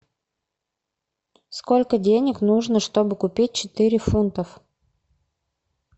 сколько денег нужно чтобы купить четыре фунтов